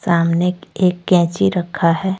सामने एक कैंची रखा है।